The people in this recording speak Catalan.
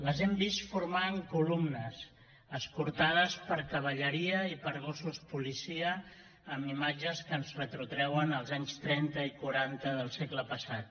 les hem vist formant columnes escortades per cavalleria i per gossos policia amb imatges que ens retrotreuen als anys trenta i quaranta del segle passat